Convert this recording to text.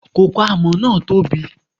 Koko alámọ̀ náà tó bi.